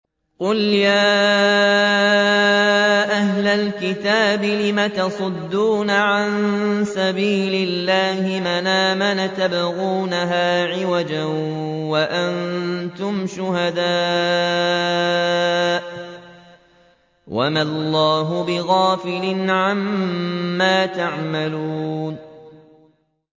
قُلْ يَا أَهْلَ الْكِتَابِ لِمَ تَصُدُّونَ عَن سَبِيلِ اللَّهِ مَنْ آمَنَ تَبْغُونَهَا عِوَجًا وَأَنتُمْ شُهَدَاءُ ۗ وَمَا اللَّهُ بِغَافِلٍ عَمَّا تَعْمَلُونَ